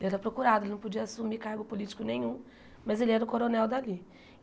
Ele era procurado, ele não podia assumir cargo político nenhum, mas ele era o coronel dali.